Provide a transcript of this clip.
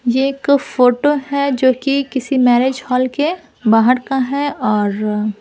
ये एक फोटो है जो कि किसी मैरेज हॉल के बाहर का है और--